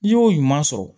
N'i y'o ɲuman sɔrɔ